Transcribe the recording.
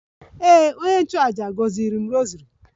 Ee, onye nchụàjà gọziri agọzi m rosary